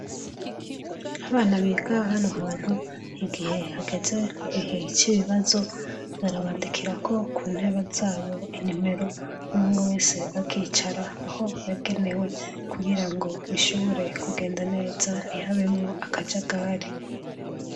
Abana biga hano hantu, igihe hageze igihe c'ibibazo, barabandikirako ku ntebe zabo inimero. Umwe wese akicara aho yagenewe kugira ngo bishobore kugenda neza ntihabemwo akajagari.